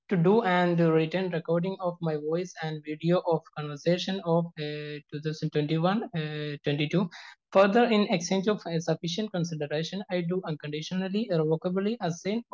To do and written recording of my voice and video of conversation of 2021-22. Further in exchange of ഇ sufficient consideration I do unconditionally irrevocably assign